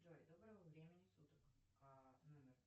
джой доброго времени суток а номер